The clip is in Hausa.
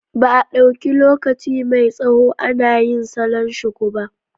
Ba a ɗauki lokaci mai tsawo ana yin salon shuku ba.